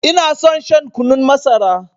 Ina son shan kunun masara.